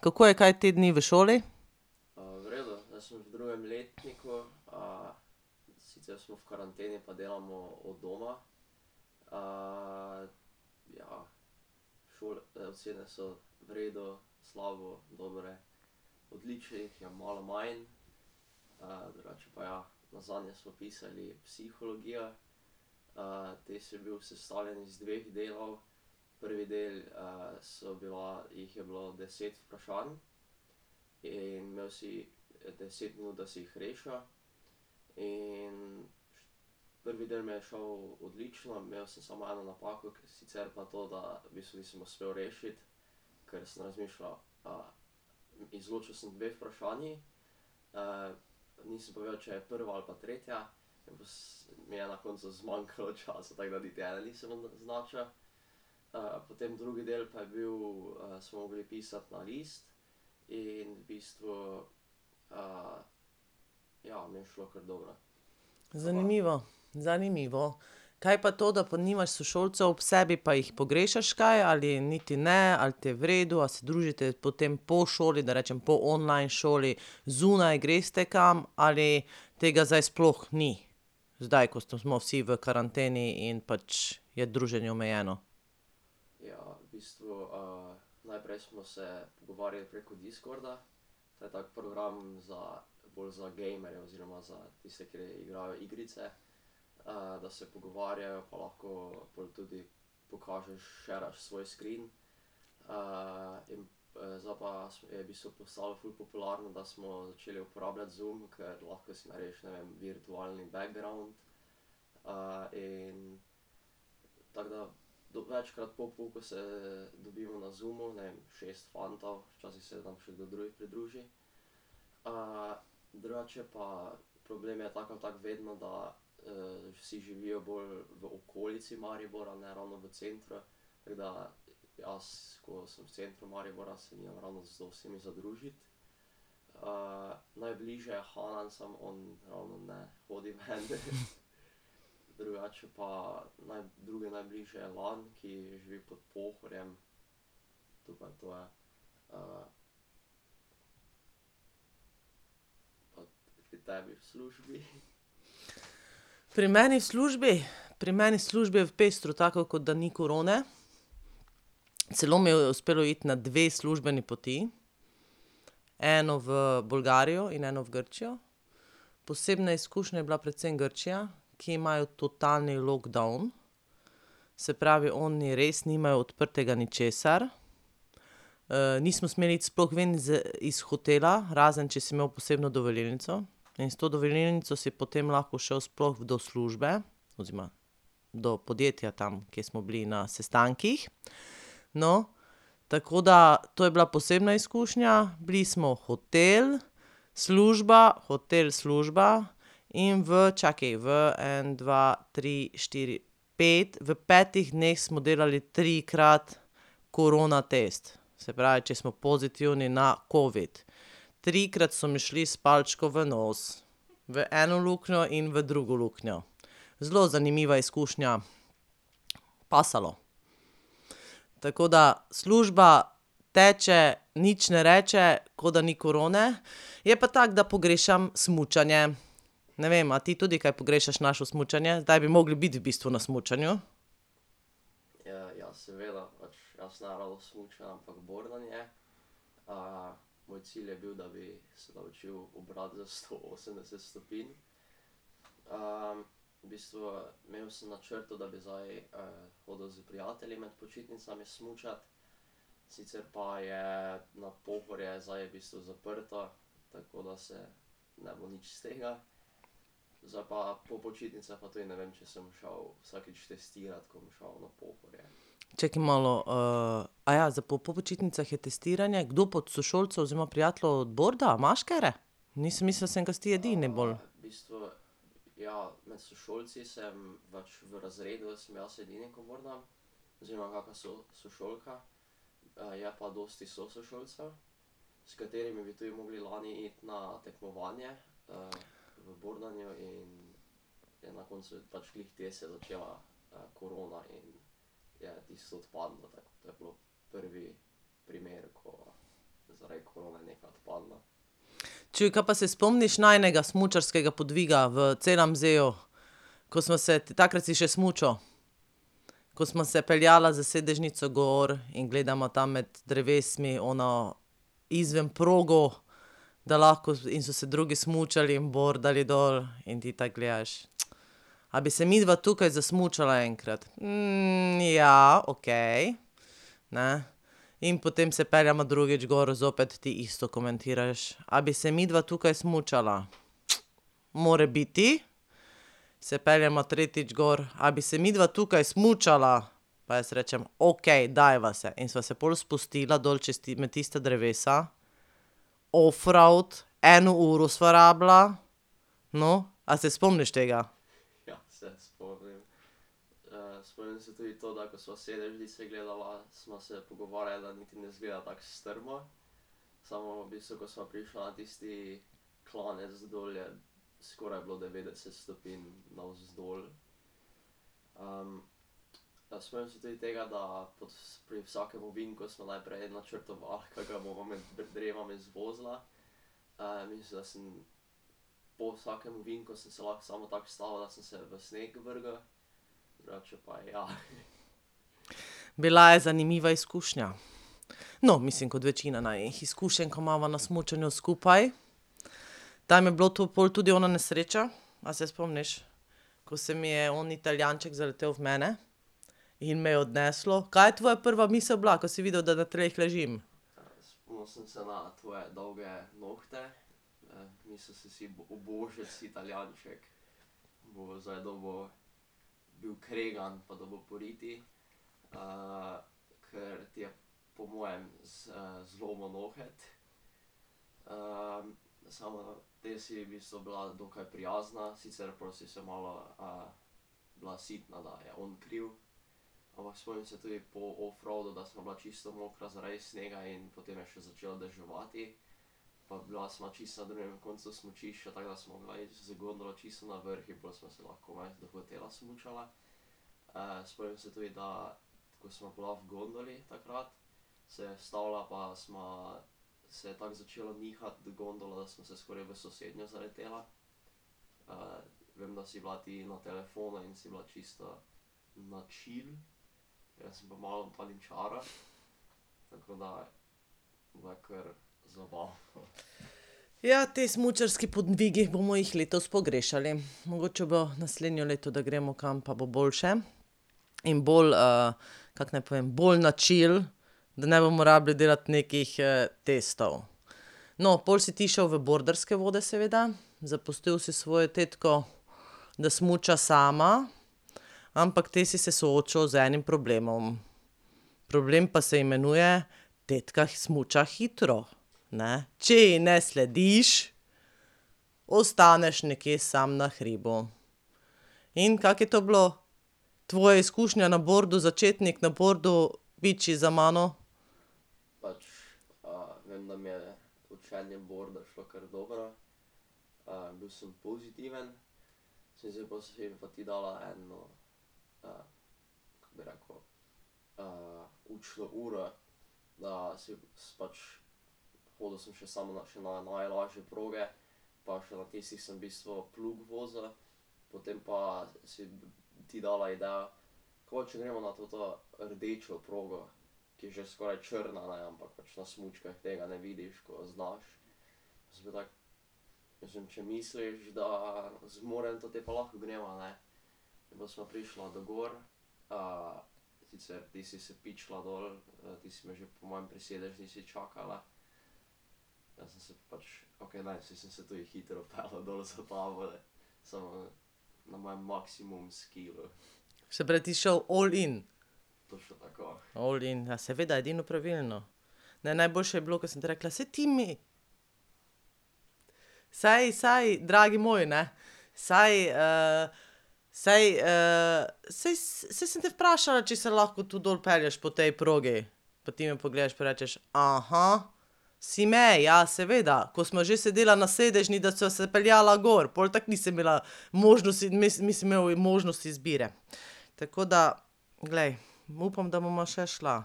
kako je kaj te dni v šoli? Zanimivo, zanimivo. Kaj pa to, da pa nimaš sošolcev ob sebi, pa jih pogrešaš kaj ali niti ne ali ti je v redu, a se družite potem po šoli, da rečem po online šoli, zunaj, greste kam ali tega zdaj sploh ni? Zdaj, ko smo vsi v karanteni in pač je druženje omejeno. Pri meni v službi? Pri meni v službi je pestro tako, ko da ni korone. Celo mi je uspelo iti na dve službeni poti, eno v Bolgarijo in eno v Grčijo. Posebna izkušnja je bila predvsem Grčija, ki imajo totalni lockdown. Se pravi, oni res nimajo odprtega ničesar. nismo smeli iti sploh ven z, iz hotela, razen če si imel posebno dovolilnico, in s to dovolilnico si potem lahko šel sploh do službe, oziroma do podjetja tam, ke smo bili na sestankih. No, tako da, to je bila posebna izkušnja, bili smo hotel, služba, hotel, služba. In v čakaj, v en, dva, tri, štiri, pet, v petih dneh smo delali trikrat korona test. Se pravi, če smo pozitivni na covid. Trikrat so mi šli s palčko v nos, v eno luknjo in v drugo luknjo. Zelo zanimiva izkušnja, pasalo. Tako da, služba teče, nič ne reče, ko da ni korone. Je pa tako, da pogrešam smučanje. Ne vem, a ti tudi kaj pogrešaš naše smučanje? Zdaj bi mogli biti v bistvu na smučanju. Čakaj malo, zdaj po po počitnicah je testiranje, kdo pa od sošolcev oziroma prijateljev borda, imaš katere? ka si ti edini bolj. Čuj, kaj pa se spomniš najinega smučarskega podviga v ? Ko sva se, takrat si še smučal ... Ko sva se peljala s sedežnico gor in gledava tam med drevesi ono izven progo, da lahko in so se drugi smučali in bordali dol in ti tako gledaš: "A bi se midva tukaj zasmučala enkrat? ja, okej, ne." In potem se peljeva drugič gor, zopet ti isto komentiraš: "A bi se midva tukaj smučala? Morebiti." Se peljeva tretjič gor: "A bi se midva tukaj smučala?" Pa jaz rečem: "Okej, dajva se." In sva se pol spustila dol čez, med tista drevesa, offroad, eno uro sva rabila, no, a se spomniš tega? Bila je zanimiva izkušnja. No, mislim kot večina najinih izkušenj, ko imava na smučanju skupaj. Tam je bilo to pol tudi ona nesreča, a se spomniš? Ko se mi je oni Italijanček zaletel v mene in me je odneslo, kaj je tvoja prva misel bila, ko si videl, da na tleh ležim? Ja, te smučarski podvigi, bomo jih letos pogrešali. Mogoče bo naslednje leto, da gremo kam, pa bo boljše in bolj kako naj povem, bolj na chill. Da ne bomo rabili delati nekih testov. No, pol si ti šel v borderske vode, seveda. Zapustil si svojo tetko, da smuča sama, ampak te si se soočil z enim problemom. Problem pa se imenuje: tetka smuča hitro, ne. Če ji ne slediš, ostaneš nekje samo na hribu. In kako je to bilo? Tvoja izkušnja na bordu, začetnik na bordu, za mano? Se pravi, ti si šel all in? All in, ja seveda, edino pravilno. Ne, najboljše je bilo, ko sem ti rekla: "Saj, Timi ..." Saj, saj, dragi moj, ne, saj saj saj saj sem te vprašala, če se lahko tu dol pelješ po tej progi, pa ti me pogledaš pa rečeš: Si me, ja, seveda, ko sva že sedela na sedežni, da sva se peljala gor, pol tako nisem imela možnosti, mislim imel možnost izbire. Tako da, glej, upam, da bova še šla